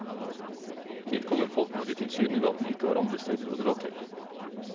Dit kommer folk når de tilsynelatende ikke har andre steder å dra til.